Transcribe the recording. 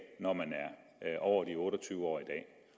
når man er over de otte og tyve år i dag